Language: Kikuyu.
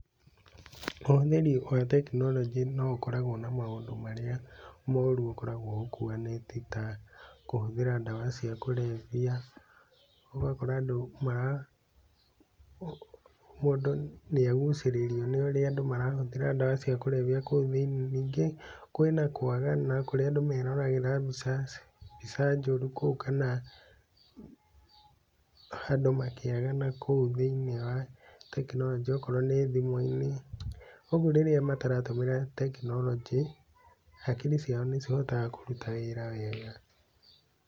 Ũhũthĩri wa tekinoronjĩ no ũkoragwo na maũndũ marĩa moru ũkoragwo ũkuanĩtie ta kũhũthĩra dawa cia kũrevya, ũgakora andũ mara mũndũ nĩ agucĩrĩrio nĩ ũrĩa andũ marahũthĩra dawa cia kũrevya kou thĩ-inĩ, ningĩ kwĩna kwagana kũrĩa andũ meroragĩra mbica njoru kou kana andũ makĩagana kũu thĩ-inĩ wa tekinoronjĩ okorwo nĩ thimũ-inĩ, ũguo rĩrĩa mataratũmĩra tekinoronjĩ, hakiri ciao nĩ cihotaga kũruta wĩra wega.